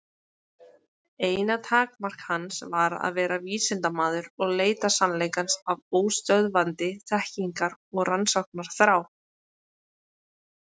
Eina takmark hans var að vera vísindamaður og leita sannleikans af óstöðvandi þekkingar- og rannsóknarþrá.